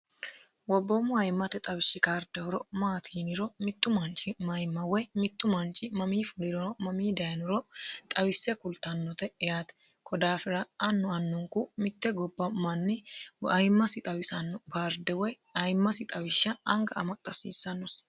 wobboommo ayimmate xawishshi kardehoro maatiiniro mittu manchi mayimma woy mittu manchi mamii fulirono mamii dayinuro xawisse kultannote yaate kodaafira anno annunku mitte gobba mannigoayimmasi xawisanno karde woy ayimmasi xawishsha anga amaxxa asiissannosi